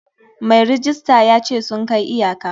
Mai rejista ya ce sun kai iyaka.